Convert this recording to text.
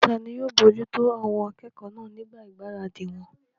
Tani yóò bojútó àwọn akẹ́kọ̀ọ́ náà nígbà ìgbáradì wọn?